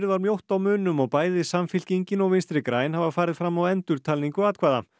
var mjótt á munum og bæði Samfylkingin og Vinstri græn hafa farið fram á endurtalningu atkvæða